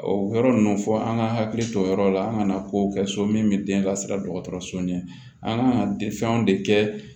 O yɔrɔ ninnu fɔ an ka hakili to yɔrɔ la an kana kow kɛ so min bɛ den lasiran dɔgɔtɔrɔso ɲɛ an ka fɛnw de kɛ